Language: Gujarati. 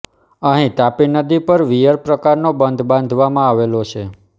અહીં તાપી નદી પર વીયર પ્રકારનો બંધ બાંધવામાં આવેલો છે